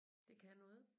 Det kan noget